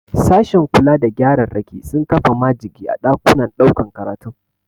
Sashen kula da gyararraki sun kafa majigi a ɗakunan ɗaukan karatun.